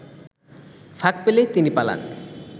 ফাঁক পেলেই তিনি পালান